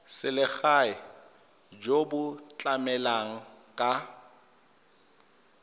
selegae jo bo tlamelang ka